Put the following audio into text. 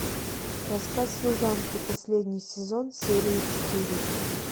рассказ служанки последний сезон серия четыре